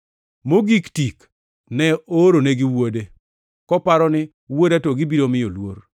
Mogik tik ne ooro negi wuode, koparo ni, ‘Wuoda to gibiro miyo luor.’